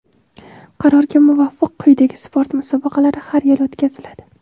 Qarorga muvofiq quyidagi sport musobaqalari har yili o‘tkaziladi:.